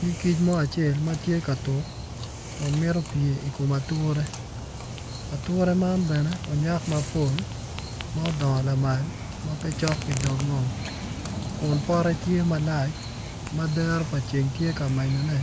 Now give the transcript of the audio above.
Nyig kic mo acel ma tye ka tuk Kun mito pye ikom ature, ature man bene onyak mapol ma odongo lamal ma pe cok ki dog ngom Kun pote tye malac ma dero ceng tye ka menyone